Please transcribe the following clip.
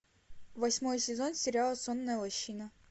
восьмой сезон сериала сонная лощина